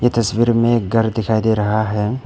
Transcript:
ये तस्वीर में एक घर दिखाई दे रहा है।